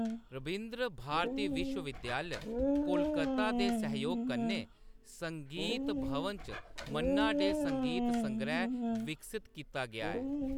रबिन्द्र भारती विश्व विद्यालय, कोलकाता दे सैहयोग कन्नै संगीत भवन च मन्ना डे संगीत संगैह्‌‌ विकसत कीता गेआ ऐ।